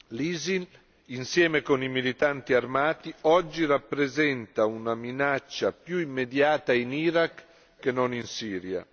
L'ISIL, insieme con i militanti armati, oggi rappresenta una minaccia più immediata in Iraq che non in Siria.